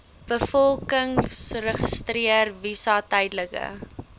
bevolkingsregister visas tydelike